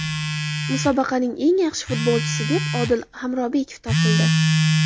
Musobaqaning eng yaxshi futbolchisi deb Odil Hamrobekov topildi.